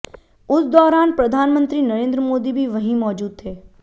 उस दौरान प्रधानमंत्री नरेंद्र मोदी भी वहीं मौजूद थे